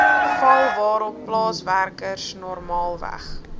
val waarop plaaswerkersnormaalweg